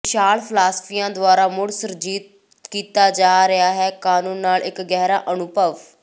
ਵਿਸ਼ਾਲ ਫਿਲਾਸਫੀਆਂ ਦੁਆਰਾ ਮੁੜ ਸੁਰਜੀਤ ਕੀਤਾ ਜਾ ਰਿਹਾ ਹੈ ਕਾਨੂੰਨ ਨਾਲ ਇੱਕ ਗਹਿਰਾ ਅਨੁਭਵ